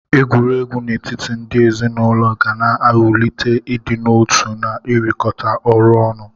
Egwuregwu n'etiti ndị ezinaụlọ ga na-ewulite idị n'otu na ịrụkọta ọrụ ọnụ.